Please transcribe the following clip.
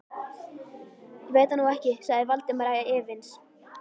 Ég veit það nú ekki sagði Valdimar efins.